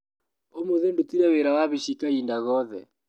ũmũthĩ ndutire wĩra wa wabici kahinda gothe.